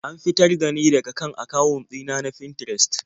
An fitar da ni daka kan akawun ɗina na Finterest.